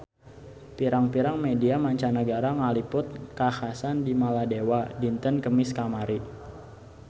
Pirang-pirang media mancanagara ngaliput kakhasan di Maladewa dinten Kemis kamari